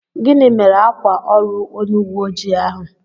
Gịnị mere ákwà órù onye uwé ojii ahụ?